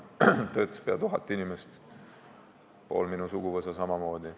Seal töötas pea tuhat inimest, pool minu suguvõsa samamoodi.